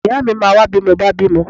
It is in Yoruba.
Ìyáà mi máa wá bí mo bá bímọ.